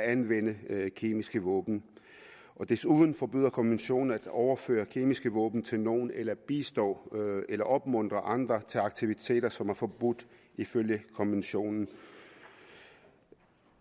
anvende kemiske våben og desuden forbyder konventionen at overføre kemiske våben til nogle eller bistå eller opmuntre andre til aktiviteter som er forbudt ifølge konventionen